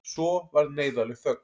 Svo varð neyðarleg þögn.